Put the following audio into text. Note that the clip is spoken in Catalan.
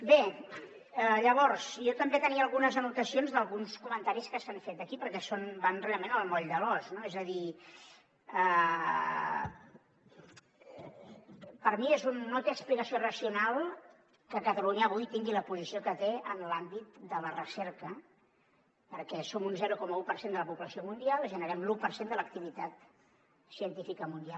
bé llavors jo també tenia algunes anotacions d’alguns comentaris que s’han fet aquí perquè van realment al moll de l’os no és a dir per mi no té explicació racional que catalunya avui tingui la posició que té en l’àmbit de la recerca perquè som un zero coma un per cent de la població mundial i generem l’u per cent de l’activitat científica mundial